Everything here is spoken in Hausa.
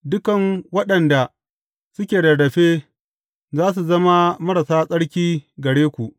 Dukan waɗanda suke rarrafe, za su zama marasa tsarki gare ku.